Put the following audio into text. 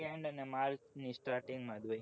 march ની starting માં જ હોય